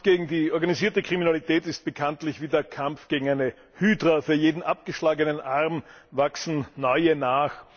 Der Kampf gegen die organisierte Kriminalität ist bekanntlich wie der Kampf gegen eine Hydra Für jeden abgeschlagenen Arm wachsen neue nach.